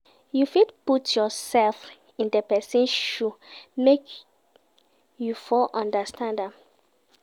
You fit put yourself in di persin shoe make you for understand am